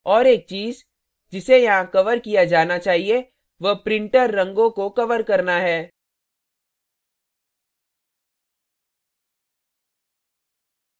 एक और चीज़ जिसे यहाँ cover किया जाना चाहिये वह printer रंगों को cover करना है